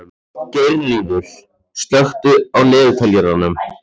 Geirríður, slökktu á niðurteljaranum.